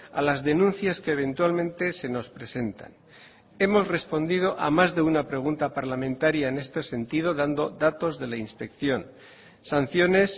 a las denuncias que eventualmente se nos presentan hemos respondido a más de una pregunta parlamentaria en este sentido dando datos de la inspección sanciones